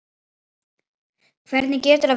Hvernig getur það verið satt?